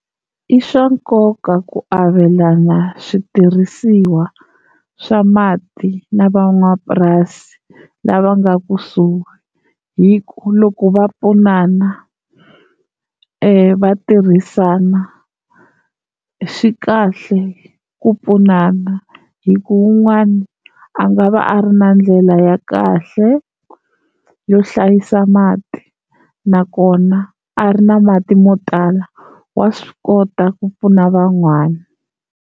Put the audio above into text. I swa nkoka ku avelana switirhisiwa swa mati na van'wamapurasi lava nga kusuhi, hi ku loko va pfunana va tirhisana swi kahle ku pfunana hi ku wun'wana a nga va a ri na ndlela ya kahle yo hlayisa mati nakona a ri na mati mo tala wa swi kota ku pfuna van'wana.